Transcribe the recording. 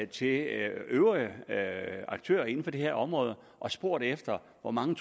til øvrige aktører inden for det her område og spurgt efter hvor mange